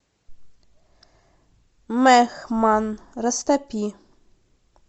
мехман растопи